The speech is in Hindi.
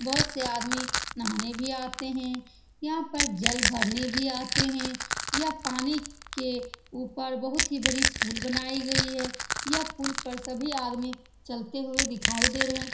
बहुत से आदमी नहाने भी आते हैं यहाँ पर जल भरने भी आते हैं यह पानी के ऊपर बहुत ही बड़ी पुल बनाई गयी हुई है यह पुल पर सभी आदमी चलते हुए दिखाई दे रहे हैं ।